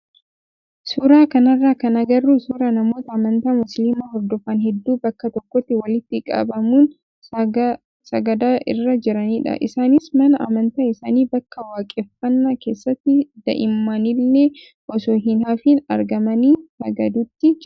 suuraa kanarraa kan agarru suuraa namoota amantaa musliimaa hordofan hedduu bakkaa tokkotti walitti qabamuun sagada irra jiranidha. Isaanis mana amantaa isaanii bakka waaqeffannaa keessatti daa'imnillee osoo hin hafiin argamanii sagaduutti jiru.